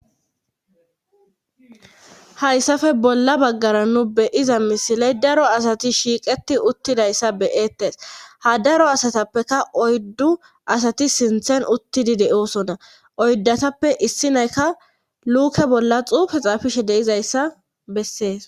Hayssafe bolla baggara nu beyiza misiley daro asati shiiqeti uttidayssa beyettes ha daro asatappeka oyddu asati sinthen uttidi de7oosona oyddatappe issi naykka luuke bolla xufe xafishe deizayssa bessees.